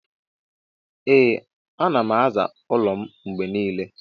Ee anam aza ụlọ m mgbenile.